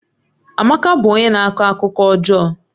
Amaka bụ onye na-akọ akụkọ ọjọọ